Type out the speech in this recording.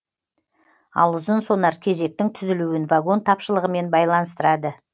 ал ұзын сонар кезектің түзілуін вагон тапшылығымен байланыстырады